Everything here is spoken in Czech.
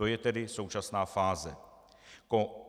To je tedy současná fáze.